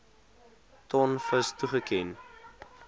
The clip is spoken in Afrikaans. ton vis toegeken